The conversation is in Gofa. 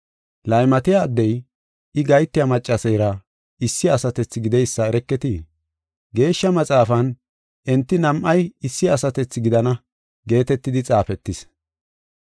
Laymatiya addey, I gahetiya maccaseera issi asatethi gideysa ereketii? Geeshsha Maxaafan, “Enti nam7ay issi asatethi gidana” geetetidi xaafetis.